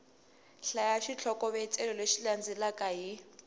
hlaya xitlhokovetselo lexi landzelaka hi